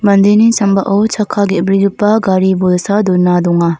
mandeni sambao chakka ge·brigipa gari bolsa dona donga.